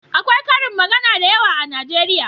Akwai ƙarin magana da yawa a najeriya